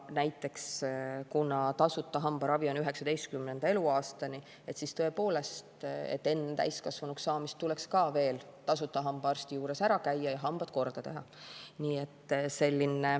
Näiteks, kuna tasuta hambaravi on 19. eluaastani, siis tõepoolest, enne täiskasvanuks saamist tuleks veel tasuta hambaarsti juures ära käia ja hambad korda teha.